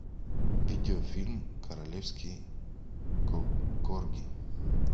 видеофильм королевский корги